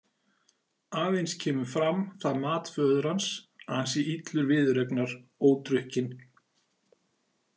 Aðeins kemur fram það mat föður hans að hann sé illur viðureignar ódrukkinn.